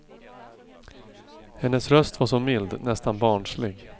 Hennes röst var så mild, nästan barnslig.